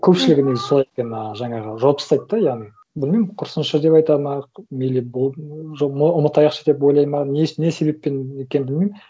көпшілігі негізі солай екен ыыы жаңағы жауып тастайды да яғни білмеймін құрысыншы деп айтады ма мейлі болды ұмытайықшы деп ойлайды ма не себеппен екенін білмеймін